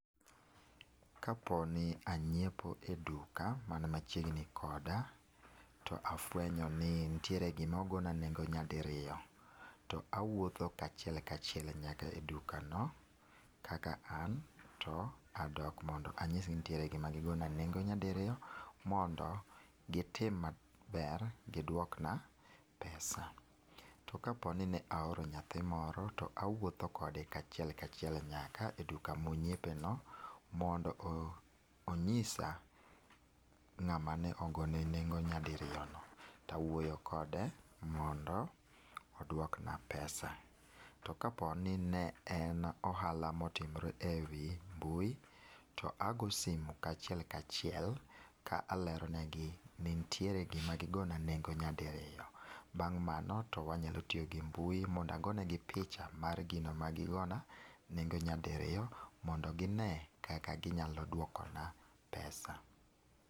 Ka po ni angiepo e duka man machiegni koda to afwenyo ni nitie gi ma ogo na nengo nyadiriyo, to awuotho kaachiel kaachiel nyaka e duka no, kaka an to adok mondo ang'is gi ni nitie gi ma gi go na nengo nyadiriyo mondo gi tim maber gi dwok na pesa. To ka po ni ne aoro nyathi moro to awuoth kode kaachiel kaachiel nyaka e duka mo ong'iepe no mondo ong'isa ng'a ma ne ogone nengo nyadiriyo no to awuoyo kode mondo odwok na pesa. To kapo ni ne en ohala ma otimre ewi mbui to ago simo kaachiel kaachiel ka alerone gi ni nitie gi ma ne gi go na nyadiriyo, bang' mano to wanya tiyo gi mbui mondo ago ne gi picha mar gino ma ne gi go na nengo nyadiriyo mondo gi ne kaka gi nyalo dwoko na pesa